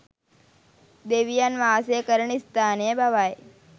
දෙවියන් වාසය කරන ස්ථානය බවයි